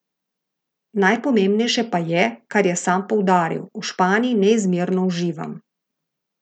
Najpomembnejše pa je, kar je sam poudaril: 'V Španiji neizmerno uživam.